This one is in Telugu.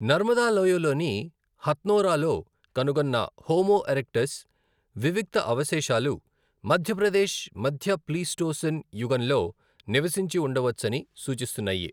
నర్మదా లోయలోని హత్నోరాలో కనుగొన్న హోమో ఎరెక్టస్ వివిక్త అవశేషాలు మధ్యప్రదేశ్ మధ్య ప్లీస్టోసీన్ యుగంలో నివసించి ఉండవచ్చని సూచిస్తున్నాయి.